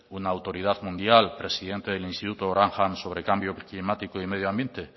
una autoridad mundial presidente del instituto grantham sobre cambio climático y medioambiente